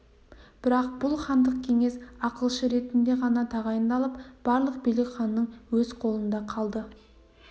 бірақ бұл хандық кеңес ақылшы ретінде ғана тағайындалып барлық билік ханның өз қолында қалды